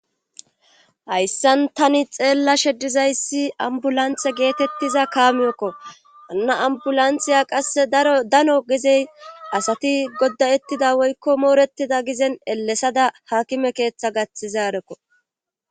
Hayssan tani xeella sheddizayssi ambulanthe geetettiza kaamiyokko anna ambulantheya qasse daro dano gezey asati goddayettida woykko mooretida gizen elesada hakime keeththa gaththizaarekko